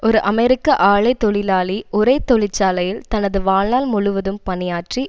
ஒரு அமெரிக்க ஆலை தொழிலாளி ஒரே தொழிற்சாலையில் தனது வாழ்நாள் முழுவதும் பணியாற்றி